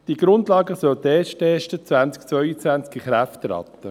Die Grundlagen sollten erst 2022 in Kraft treten.